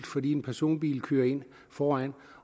fordi en personbil kørte ind foran